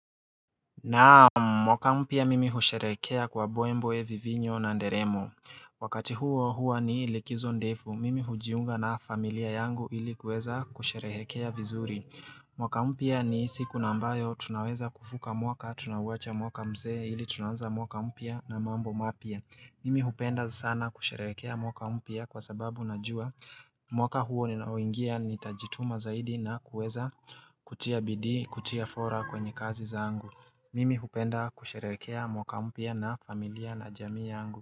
Naam, mwaka mpya mimi husherehekea kwa mbwembwe vivinyo na nderemo Wakati huo hua ni likizo ndefu, mimi hujiunga na familia yangu ili kuweza kusherehekea vizuri mwaka mpya ni siku nambayo tunaweza kuvuka mwaka, tunawacha mwaka mzee ili tunaanza mwaka mpya na mambo mapya Mimi hupenda sana kusherehekea mwaka mpya kwa sababu najua mwaka huo ninaoingia nitajituma zaidi na kuweza kutia bidii, kutia fora kwenye kazi zangu Mimi hupenda kusherehekea mwaka mpya na familia Najamii yangu.